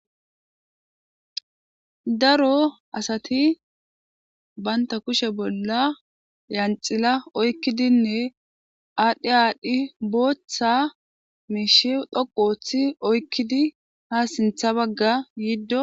Daro asati banta kushe bolla lanxila oykidone bagati adhi adhi bootha mishe dhoqu hiti oykidi ha sintha baga gido betosona.